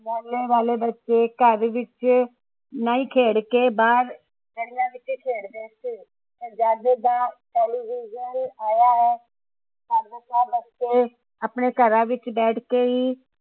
ਪਹਿਲੇ ਵਾਲੇ ਬੱਚੇ ਘੱਰ ਵਿਚ ਨਹੀਂ ਖੇਡ ਕੇ ਬਾਹਰ ਗਲੀਆਂ ਵਿਚ ਖੇਡਦੇ ਹੁੰਦੇ ਸੀ ਜਦ ਦਾ ਟੇਲੀਵਿਜਨ ਆਇਆ ਹੈ ਪਰ ਘਰਾਂ ਵਿਚ ਬੈਠ ਕੇ ਹੀ